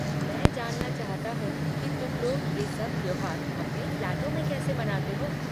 मैं जानना चाहता हो की तुम लोग ये सब त्योहार अपने फ़्लैटों में कैसे मनाते हो।